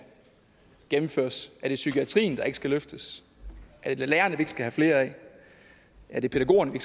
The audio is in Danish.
gennemføres er det psykiatrien der ikke skal løftes er det lærerne vi ikke skal have flere af er det pædagogerne vi